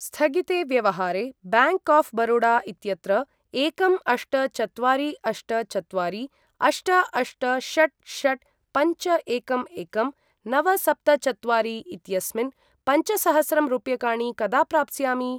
स्थगिते व्यवहारे bank of Baroda इत्यत्र एकं अष्ट चत्वारि अष्ट चत्वारि अष्ट अष्ट षट् षट् पञ्च एकं एकं नव सप्त चत्वारि इत्यस्मिन् पञ्चसहस्रं रूप्यकाणि कदा प्राप्स्यामि?